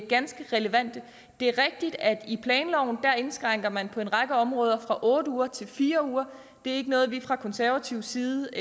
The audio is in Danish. ganske relevante det er rigtigt at i planloven indskrænker man på en række områder høringsfristen fra otte uger til fire uger det er ikke noget vi fra konservativ side